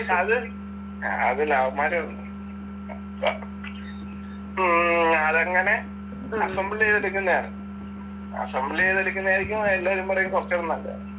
അത്, അത് ലവന്മാര് ഉം അതങ്ങനെ അസംബ്ള് ചെയ്തെടുക്കുന്നയാ. അസംബ്ള് ചെയ്തെടുക്കുന്നയാരിക്കും എല്ലാരും പറയും കുറച്ചൂടെ നല്ലതെന്ന്.